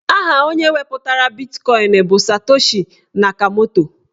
Aha onye wepụtara bitkọin bụ Satoshi Nakamoto.